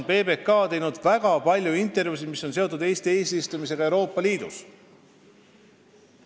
PBK on teinud väga palju intervjuusid, mis on seotud Eesti eesistumisega Euroopa Liidus.